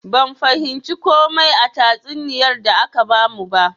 Ban fahimci komai a tatsuniyar da aka bamu ba.